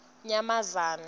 nyamazane